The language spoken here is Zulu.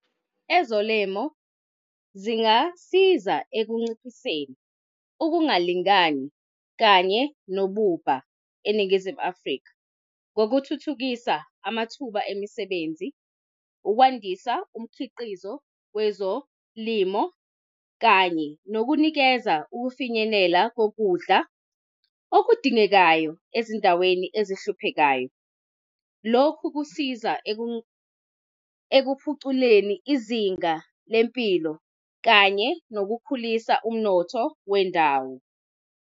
Ezolemo zingasiza ekunciphiseni ukungalingani kanye nobubha eNingizimu Afrika, ngokuthuthukisa amathuba emisebenzi, ukwandisa umkhiqizo wezolimo, kanye nokunikeza ukufinyelela kokudla okudingekayo ezindaweni ezihluphekayo. Lokhu kusiza ekuphuculeni izinga lempilo, kanye nokukhulisa umnotho wendawo.